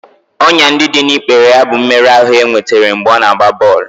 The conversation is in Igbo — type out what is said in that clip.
Ọnyá ndị dị n'ikpere ya bụ mmerụ ahụ e nwetara mgbe ọ na-agba bọl